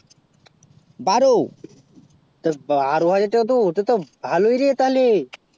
দাড় তো ভারবারে তা অতটা তো ভালো ই rate আলে